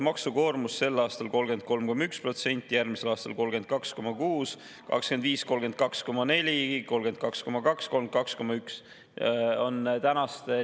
Maksukoormus on sel aastal 33,1%, järgmisel aastal 32,6%, 2025. aastal 32,4%, 32,2% ja 32,1%.